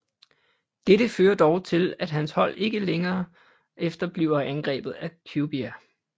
Dette fører dog til at hans hold ikke lang tid efter bliver angrebet af Cubia